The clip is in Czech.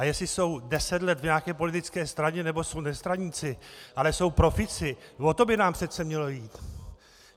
A jestli jsou deset let v nějaké politické straně, nebo jsou nestraníci, ale jsou profíci, o to by nám přece mělo jít.